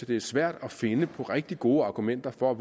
det er svært at finde på rigtig gode argumenter for